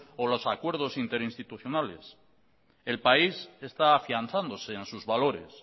o los acuerdos interinstitucionales el país está afianzándose en sus valores